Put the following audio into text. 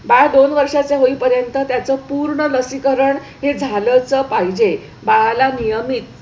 बाळ दोन वर्षांचे होईपर्यंत त्याचं पूर्ण लसीकरण हे झालंच पाहिजे. बाळाला नियमित